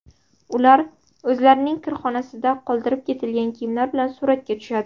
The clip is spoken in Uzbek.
Ular o‘zlarining kirxonasida qoldirib ketilgan kiyimlar bilan suratga tushadi.